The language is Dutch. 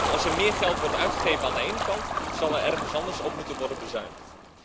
Als er meer geld wordt uitgegeven aan de ene kant, zal er ergens anders op moeten worden bezuinigd.